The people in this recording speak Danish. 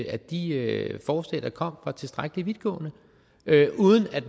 at de forslag der kom var tilstrækkelig vidtgående uden at